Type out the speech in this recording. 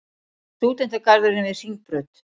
Stúdentagarðurinn við Hringbraut.